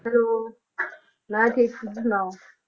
Hello ਮੈਂ ਠੀਕ ਤੁਸੀਂ ਸੁਣਾਓ?